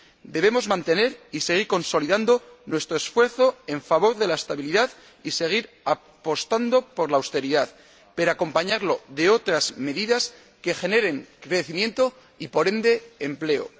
Debemos mantener y seguir consolidando nuestro esfuerzo en favor de la estabilidad y seguir apostando por la austeridad, pero esto debe ir acompañado de otras medidas que generen crecimiento y, por ende, empleo.